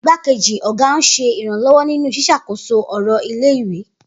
Igbákejì ọ̀gá ń ṣe ìrànlọ́wọ́ nínú ṣíṣàkóso ọ̀rọ̀ ilé-ìwé.